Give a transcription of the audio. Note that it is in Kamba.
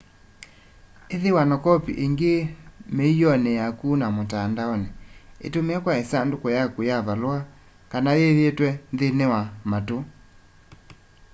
ithiwa na kopi ingi miioni yaku na mutandaoni itumie kwa isanduku yaku ya valua kana yiyitwe nthini wa matu”